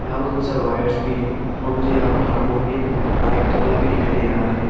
यहां पर बहुत सारा वायर्स भी हैं और मुझे यहां पर हारमोनियम माइक तबला भी दिखाई दे रहा है।